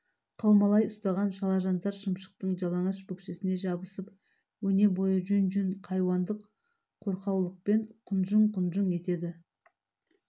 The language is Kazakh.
қаумалай ұстаған шалажансар шымшықтың жалаңаш бөксесіне жабысып өнебойы жүн-жүн хайуандық қорқаулықпен құнжұң-құнжұң етеді